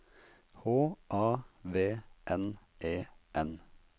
H A V N E N